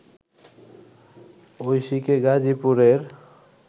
ঐশীকে গাজীপুরের